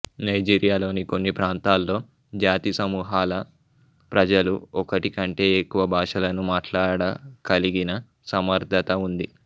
నైజీరియాలోని కొన్ని ప్రాంతాల్లో జాతి సమూహాల ప్రజలు ఒకటి కంటే ఎక్కువ భాషలను మాట్లాడకలిగిన సమర్ధత ఉంది